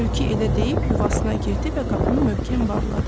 Tülkü elə deyib yuvasına girdi və qapını möhkəm bağladı.